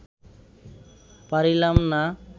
পারিলাম না